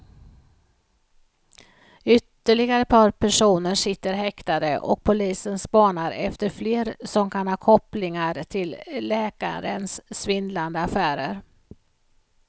Ytterligare ett par personer sitter häktade och polisen spanar efter fler som kan ha kopplingar till läkarens svindlande affärer.